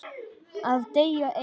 Að deyja einn.